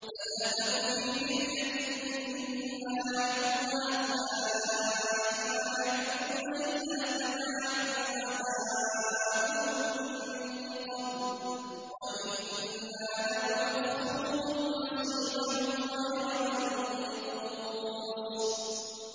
فَلَا تَكُ فِي مِرْيَةٍ مِّمَّا يَعْبُدُ هَٰؤُلَاءِ ۚ مَا يَعْبُدُونَ إِلَّا كَمَا يَعْبُدُ آبَاؤُهُم مِّن قَبْلُ ۚ وَإِنَّا لَمُوَفُّوهُمْ نَصِيبَهُمْ غَيْرَ مَنقُوصٍ